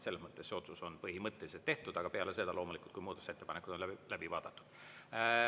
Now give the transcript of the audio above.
Selles mõttes see otsus on põhimõtteliselt tehtud, aga peale seda loomulikult, kui muudatusettepanekud on läbi vaadatud.